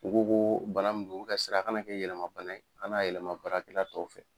U ko ko bana min do, u bɛ ka siran a ka na kɛ yɛlɛma bana ye, a ka na yɛlɛma baarakɛla tɔw fɛ.